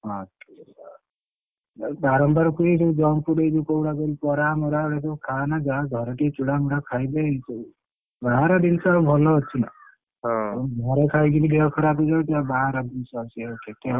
ହଁ ତାକୁ ବାରମ୍ବାର କହୁଛି ଏଇ ଯୋଉ junk food ଏଇ କୋଉଗୁଡା କହିଲୁ ବରା ମରା ଏଗୁଡା ଖାଆନା ଯା ଘରେ ଟିକେ ଚୂଡା ମୁଡା ଖାଇଦେ ଏଇସବୁ ବାହାର ଜିନିଷ ଆଉ ଭଲ ଅଛି ନା ହଁ ଘରେ ଖାଇକି ଦେହ ଖରାପ ହେଇଯାଉଛି ଆଉ ବାହାର ଜିନିଷ ସିଏ ଆଉ କେତେ?